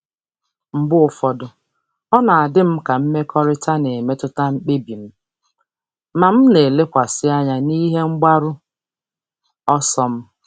Mgbe ụfọdụ, ọ na-adị m ka mmekọrịta na-emetụta mkpebi m, ma m na-elekwasị anya n'ihe mgbaru ọsọ m.